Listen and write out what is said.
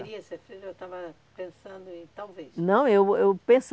queria ser freira ou estava pensando em talvez? Não, eu, eu